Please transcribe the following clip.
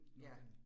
Ja